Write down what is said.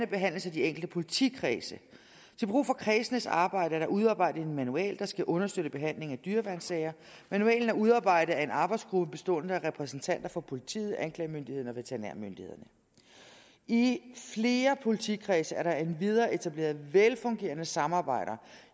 behandles af de enkelte politikredse til brug for kredsenes arbejde er der udarbejdet en manual der skal understøtte behandlingen af dyreværnssager manualen er udarbejdet af en arbejdsgruppe bestående af repræsentanter for politiet anklagemyndigheden og veterinærmyndighederne i flere politikredse er der endvidere etableret velfungerende samarbejder